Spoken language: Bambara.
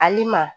Ali ma